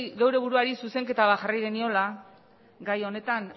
gure buruari zuzenketa bat jarri geniola gai honetan